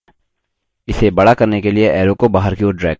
इसे बड़ा करने के लिए arrow को बाहर की ओर drag करें